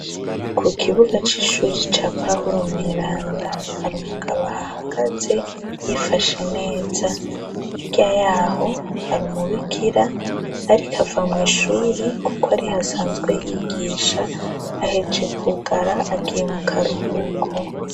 Ku kibuga c'ishuri ca pahuro Mweranda, hari umugabo ahahagaze yifashe neza, hiryayaho hari umubikira ariko ava mu ishuri kuko ari hasanzwe yigisha aheje kugara agiye mu karuhuko.